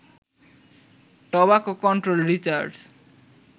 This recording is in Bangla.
tobacco control research